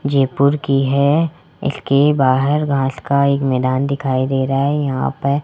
जयपुर की है इसके बाहर घास का एक मैदान दिखाई दे रहा है यहां पर --